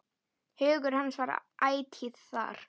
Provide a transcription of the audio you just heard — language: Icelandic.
Hugur hans var ætíð þar.